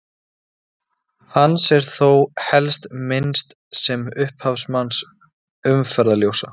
Hans er þó helst minnst sem upphafsmanns umferðarljósa.